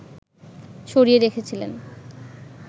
সরিয়ে রেখেছিলেন